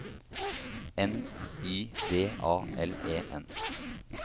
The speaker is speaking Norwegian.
N Y D A L E N